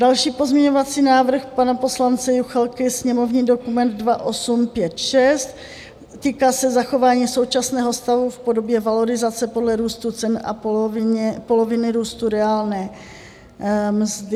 Další pozměňovací návrh pana poslance Juchelky, sněmovní dokument 2856 se týká zachování současného stavu v podobě valorizace podle růstu cen a poloviny růstu reálné mzdy.